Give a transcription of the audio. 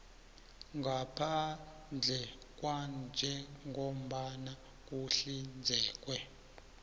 ngaphandle kwanjengombana kuhlinzekwe